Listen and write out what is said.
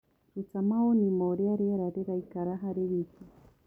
ruta mawoni maũrĩa rĩera riraikara harĩ wĩkĩ